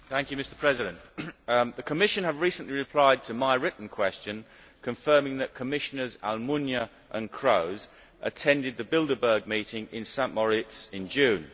Mr President, the Commission has recently replied to my written question, confirming that Commissioners Almunia and Kroes attended the Bilderberg meeting in St Moritz in June.